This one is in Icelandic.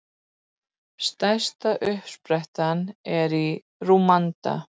Stærsta uppsprettan er í Rúanda.